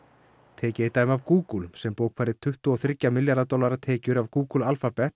tekið er dæmi af Google sem bókfærði tuttugu og þrjá milljarða tekjur af Google